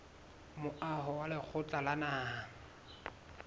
moaho wa lekgotla la naha